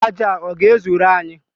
Aja a ọ ga-ezuru anyị?